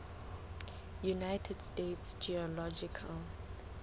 united states geological